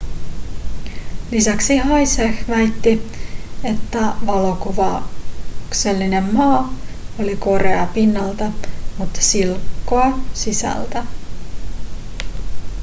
lisäksi hsieh väitti että valokuvauksellinen ma oli korea pinnalta mutta silkkoa sisältä